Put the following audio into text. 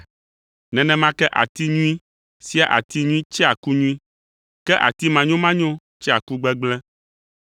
Nenema ke ati nyui sia ati nyui tsea ku nyui, ke ati manyomanyo tsea ku gbegblẽ.